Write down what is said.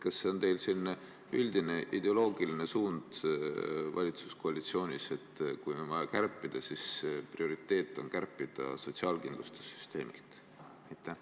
Kas see on teil selline üldine ideoloogiline suund valitsuskoalitsioonis, et kui on vaja kärpida, siis prioriteet on kärpida sotsiaalkindlustussüsteemilt?